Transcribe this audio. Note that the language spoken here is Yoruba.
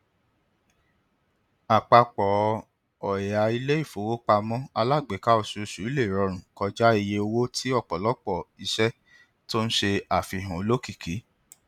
àpapọ ọya iléifowopamọ alágbèéká oṣooṣù lè rọrùn kọjá iye owó ti ọpọlọpọ iṣẹ to n se àfihàn olókìkí